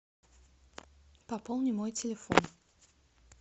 пополни мой телефон